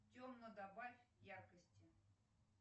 темно добавь яркости